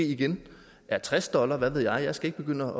igen er tres dollar hvad ved jeg jeg skal ikke begynde